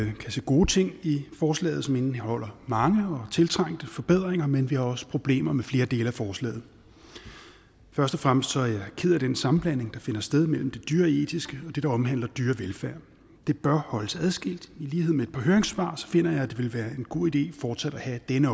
vi kan se gode ting i forslaget som indeholder mange og tiltrængte forbedringer men vi har også problemer med flere dele af forslaget først og fremmest er jeg ked af den sammenblanding der finder sted mellem det dyreetiske og det der omhandler dyrevelfærd det bør holdes adskilt i lighed med et par høringssvar så finder jeg at det vil være en god idé fortsat at have denne